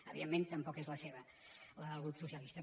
evidentment tampoc és la seva la del grup socialista